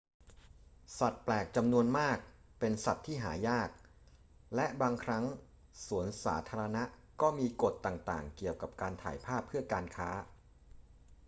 สัตว์แปลกจำนวนมากเป็นสัตว์ที่หายาก และบางครั้งสวนสาธารณะก็มีกฎต่าง ๆ เกี่ยวกับการถ่ายภาพเพื่อการค้า